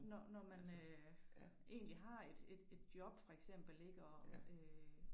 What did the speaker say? Når når man øh egentlig har et et et job for eksempel ik og øh